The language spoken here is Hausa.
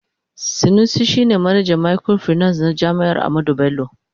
Sanusi shi ne manajan microfinance na jami'ar Ahmadu Bello.